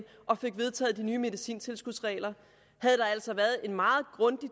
og fik vedtaget de nye medicintilskudsregler havde der altså været en meget grundig